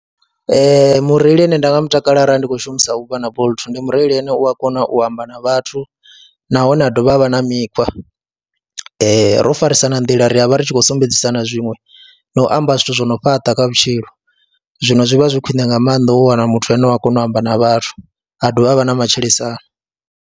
Ee, mureili ane nda nga mu takalela arali ndi khou shumisa Uber na Bolt ndi mureili ane u a kona u amba na vhathu nahone a dovha ha vha na mikhwa ro farisa na nḓila ria vha ri tshi khou sumbedzisa na zwiṅwe na u amba zwithu zwo no fhaṱa kha vhutshilo, zwino zwi vha zwi khwiṋe nga maanḓa u wana muthu ane u a kona u amba na vhathu a dovha a vha na matshilisano.